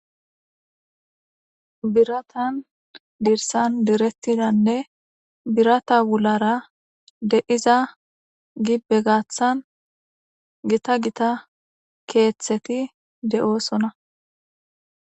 biratan dirsan direttidanne birata wulara de iza gi begaaththan gita gita keeththeti de7oosona